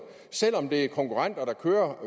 selv om det er konkurrenter der kører